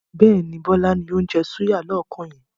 Bẹ́ẹ̀ni, Bọlá ni ó ń jẹ́ súyà lọ́ọ̀kan yẹn.